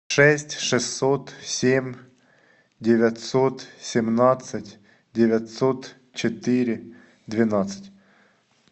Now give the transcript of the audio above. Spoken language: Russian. шесть шестьсот семь девятьсот семнадцать девятьсот четыре двенадцать